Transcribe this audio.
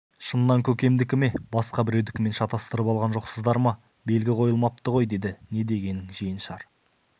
шыннан көкемдікі ме басқа біреудікімен шатыстырып алған жоқсыздар ма белгі қойылмапты ғой деді не дегенің жиеншар